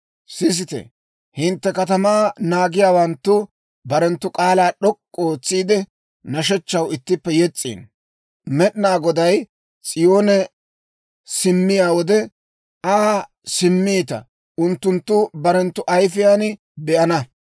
Sisite, hintte katamaa naagiyaawanttu barenttu k'aalaa d'ok'k'u ootsiide, nashshechchaw ittippe yes's'iino; Med'inaa Goday S'iyoone simmiyaa wode, I simmowaa unttunttu barenttu ayifiyaan be'ana.